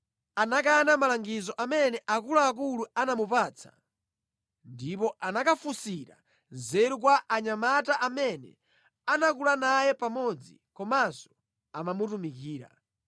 Koma Rehobowamu anakana malangizo amene akuluakulu anamupatsa ndipo anakafunsira nzeru kwa anyamata amene anakula naye pamodzi komanso amamutumikira.